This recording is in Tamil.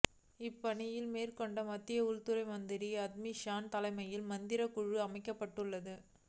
இப்பணிகளை மேற்கொள்ள மத்திய உள்துறை மந்திரி அமித் ஷா தலைமையில் மந்திரிகள் குழு அமைக்கப்பட்டுள்ளது